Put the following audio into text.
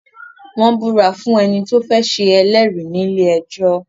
Wọ́n ń ìbúra fún ẹni tó fẹ́ ṣe ẹlẹ́rìí nílé ẹjọ́.